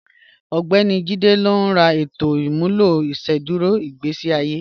Ọgbẹ̀ni Jíde ní rà ètò imúlọ̀ ìṣẹ̀dúrò igbésí àye